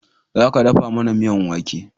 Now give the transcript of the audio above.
Za ka dafa mana miyan wake!